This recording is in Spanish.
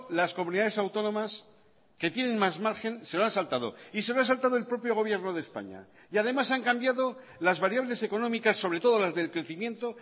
las comunidades autónomas que tienen más margen se lo han saltado y se lo ha saltado el propio gobierno de españa y además han cambiado las variables económicas sobre todo las del crecimiento